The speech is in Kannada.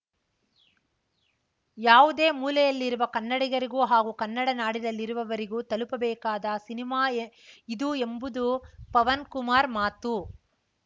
ಯಾವುದೇ ಮೂಲೆಯಲ್ಲಿರುವ ಕನ್ನಡಿಗರಿಗೂ ಹಾಗೂ ಕನ್ನಡನಾಡಿನಲ್ಲಿರುವವರಿಗೂ ತಲುಪಬೇಕಾದ ಸಿನಿಮಾ ಇದು ಎಂಬುದು ಪವನ್‌ ಕುಮಾರ್‌ ಮಾತು